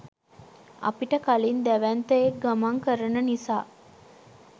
අපිට කලින් දැවැන්තයෙක් ගමන් කරන නිසා.